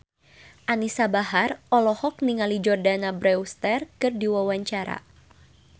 Anisa Bahar olohok ningali Jordana Brewster keur diwawancara